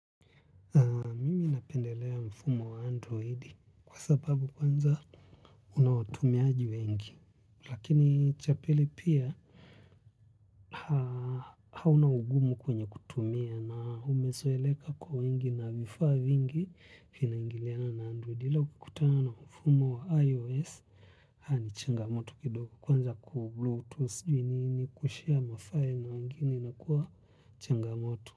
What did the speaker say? Na pendelea mfumo wa androidi kwa sababu kwanza unawatumiaji wengi. Lakini cha pili pia hauna ugumu kwenye kutumia na umesoeleka kwa wengi na vifaa vingi finaingiliana na androidi. Hila kutana na mfumo wa ios haa ni changamoto kidogo kwanza kubluetooth kushare mafiles kwa wengine imekuwa changamoto.